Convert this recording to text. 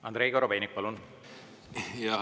Andrei Korobeinik, palun!